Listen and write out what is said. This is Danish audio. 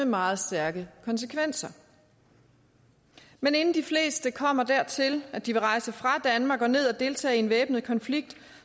meget stærke konsekvenser men inden de fleste kommer dertil at de vil rejse fra danmark og ned at deltage i en væbnet konflikt